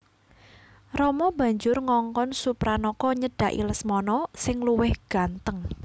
Rama banjur ngongkon Supranaka nyedhaki Lesmana sing luwih gantheng